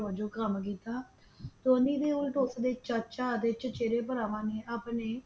ਵਜੋਂ ਕੰਮ ਕੀਤਾ ਧੋਨੀ ਦੇ ਵੱਡੇ ਚਾਚਾ ਅਤੇ ਚਚੇਰੇ ਭਰਾਵਾਂ ਨੇ ਆਪਣੇ ਭਰਾ ਨੂੰ ਧੋਨੀ ਕਿਹਾ।